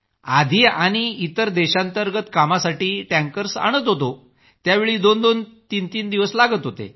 आधी आणि इतर देशांतर्गत कामासाठी टँकर्स आणत होतो त्यावेळी दोन ते तीन दिवस लागत होते